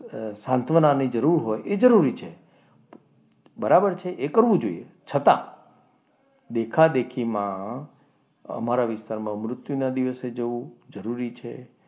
એને સાંત્વનાની જરૂર હોય એ જરૂરી છે. બરાબર છે એ કરવું જોઈએ. છતાં દેખાદેખીમાં અમારા વિસ્તારમાં મૃત્યુના દિવસે જવું જરૂરી છે.